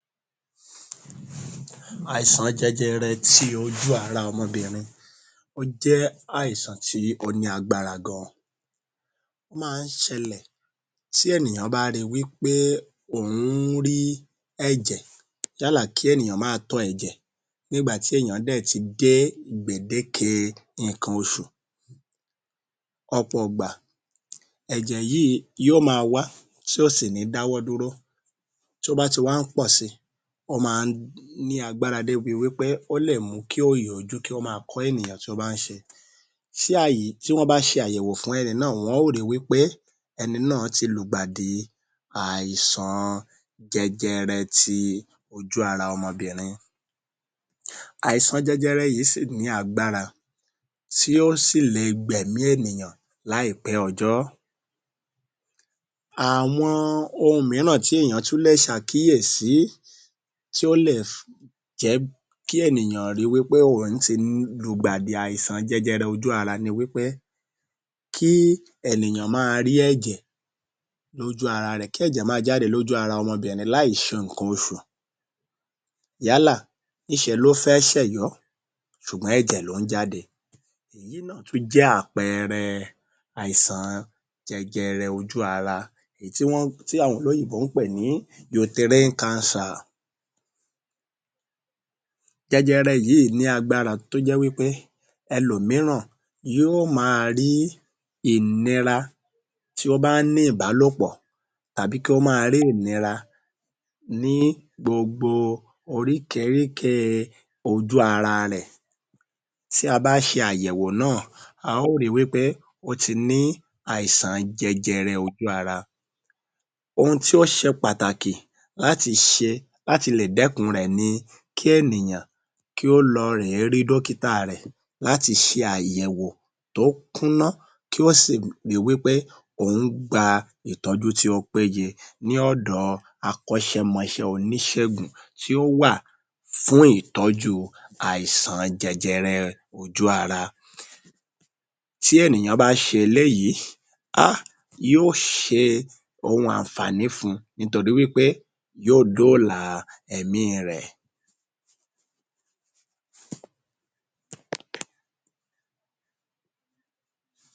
Àìsàn jẹjẹrẹ tí ojú ara ọmọbìnrin ó jẹ́ àìsàn tí ó ní agbára gan-an ó ma ń ṣẹlẹ̀ tí ènìyàn bá ri wí pé òun ń rí ẹ̀jẹ̀ yálà kí ènìyàn ma tọ ẹ̀jẹ̀ nígbà tí èèyàn dẹ̀ ti dé gbèdéke ǹkan oṣù. Ọ̀pọ̀ ìgbà ẹ̀jẹ̀ yíì yóò ma wá tí ò sì ní dáwọ́ duró tí ó ba ti wá ń pọ̀ si ó máa ń ní agbára débi wí pé ó lè mú kí òòyì-ojú kí ó ma kọ́ ènìyàn tí ó bá ń ṣe, síà yí tí wọ́n bá ṣe àyẹ̀wò fún ẹni náà wọn ó ri wí pé ẹni náà ti lùgbàdì àìsàn jẹjẹrẹ ti ojú-ara ọmọbìnrin. Àìsàn jẹjẹrẹ yìí sì ní agbára tí ó sì le gb’ẹ̀mí ènìyàn láìpẹ́ ọjọ́, àwọn ohun míràn tí ènìyàn tún lè ṣàkíyèsí tí ó lè jẹ́ kí ènìyàn ri wí pé òun ti lùgbàdì àìsàn jẹjẹrẹ ojú ara ni wí pé kí èniyàn ma rí ẹ̀jẹ̀ lójú-ara rẹ̀ kí ẹ̀jẹ̀ ma jáde lójú-ara ọmọbìnrin láì ṣe ǹkan oṣù yálà níṣe ló fẹ́ ṣẹ̀yọ́ ṣùgbọ́n ẹ̀jẹ̀ ló ń jáde èyí náà tún jẹ́ àpẹẹrẹ àìsàn jẹjẹrẹ ojú ara èyí tí wọ́n.. tí àwọn olóyìnbó ń pè ní ‘’Uterine cancer’’. Jẹjẹrẹ yìí ní agbára tó jẹ́ wí pé ẹlòmíràn yóò ma rí ìnira tí ó bá ń ní ìbálòpọ̀ tàbí kí ó ma rí ìnira ní gbogbo oríkeríkée ojú-ara rẹ̀ tí a bá ṣe àyẹ̀wò náà a ó ri wí pé ó ti ní àìsàn jẹjẹrẹ ojú-ara. Ohun tí ó ṣe pàtàkì láyi ṣe láti lè dẹ́kun rẹ̀ ni kí ènìyàn kí ó lọ rè é rí dọ́kítà a rẹ̀ láti ṣe àyẹ̀wò tí ó kúnná kí ó sì ri wí pé òun gba ìtọ́jú tí ó péye ní ọ̀dọ̀ ọ akọ́ṣẹmọṣẹ́ oníṣègùn tí ó wà fún ìtọ́jú àìsàn jẹjẹrẹ ojú-ara. Tí ènìyàn bá ṣe eléyìí...ahh.. yóò ṣe ohun àǹfààní fún-un nítorí wí pé yóò dóòlà ẹ̀mí i rẹ̀.